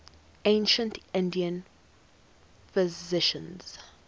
ancient indian physicians